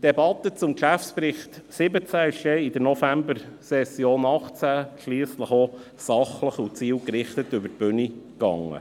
Die Debatte zum Geschäftsbericht 2017 ging denn in der Novembersession 2018 schliesslich sachlich und zielgerichtet über die Bühne.